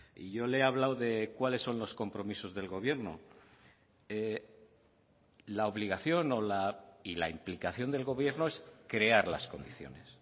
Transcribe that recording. y yo le he hablado de cuáles son los compromisos del gobierno la obligación y la implicación del gobierno es crear las condiciones